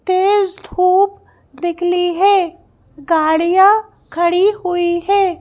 तेज धूप निकली है गाड़ियां खड़ी हुई है।